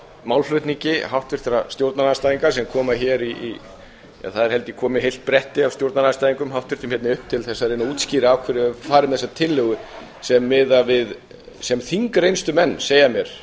málflutningi háttvirtra stjórnarandstæðinga sem koma hingað það er held ég komið heilt bretti af háttvirtum stjórnarandstæðingum hingað upp til að reyna að útskýra af hverju er farið með þessa tillögu sem þingreynslumenn segja mér